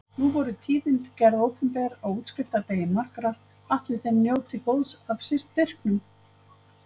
Nú voru tíðindi gerð opinber á útskriftardegi margra, ætli þeir njóti góðs af styrkinum?